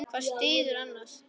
Hvað styður annað.